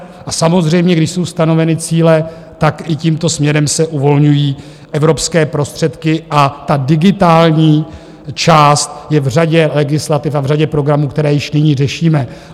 A samozřejmě když jsou stanoveny cíle, tak i tímto směrem se uvolňují evropské prostředky a ta digitální část je v řadě legislativ a v řadě programů, které již nyní řešíme.